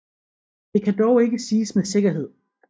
Det kan dog ikke siges med sikkerhed